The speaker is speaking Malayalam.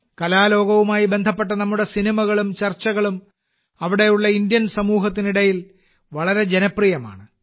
കലാലോകവുമായി ബന്ധപ്പെട്ട നമ്മുടെ സിനിമകളും ചർച്ചകളും അവിടെയുള്ള ഭാരതീയ സമൂഹത്തിനിടയിൽ വളരെ ജനപ്രിയമാണ്